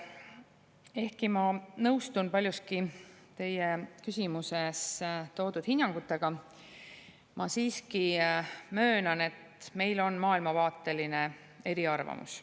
Ehkki ma nõustun paljuski teie küsimuses toodud hinnangutega, ma siiski möönan, et meil on maailmavaateline eriarvamus.